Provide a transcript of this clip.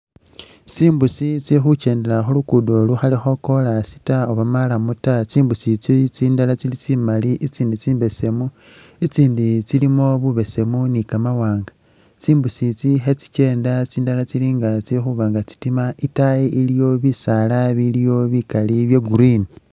Tsimbusi tsili khukyendela khulugudo lukhalikho koras taa oba marrum taa tsimbusi itsi tsindala tsili tsi mali itsindi tsimbeesemi , itsindi tsilimo bubeesemu ni kamawaanga, tsi mbusi tsi khe tsikyenda tsindala tsilinga tsikhuba nga tsitima ,itayi iliyo bisaala biliyo bikali bya green.